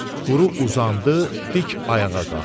Quru uzandı, dik ayağa qalxdı.